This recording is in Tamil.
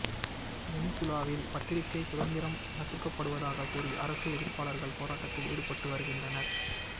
வெனிசுலாவில் பத்திரிக்கை சுதந்திரம் நசுக்கப்படுவதாக கூறி அரசு எதிர்ப்பாளர்கள் போராட்டத்தில் ஈடுபட்டு வருகின்றனர்